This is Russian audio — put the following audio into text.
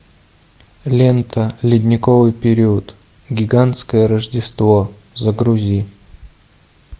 лента ледниковый период гигантское рождество загрузи